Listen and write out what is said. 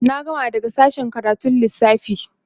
na gama daga sashen karatun Lissafi